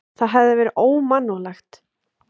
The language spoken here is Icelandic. Það hefði verið ómannúðlegt.